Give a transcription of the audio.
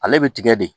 Ale bɛ tigɛ de